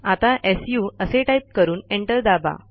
आता सु असे टाईप करून एंटर दाबा